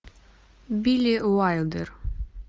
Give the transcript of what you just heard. билли уайлдер